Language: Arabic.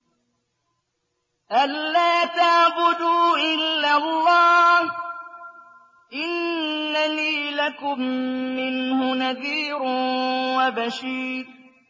أَلَّا تَعْبُدُوا إِلَّا اللَّهَ ۚ إِنَّنِي لَكُم مِّنْهُ نَذِيرٌ وَبَشِيرٌ